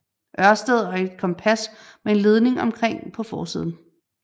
Ørsted og et kompas med en ledning omkring på forsiden